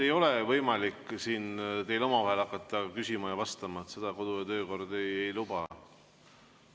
Ei ole võimalik siin teil omavahel hakata küsima ja vastama, seda kodu‑ ja töökord ei luba.